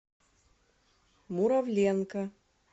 муравленко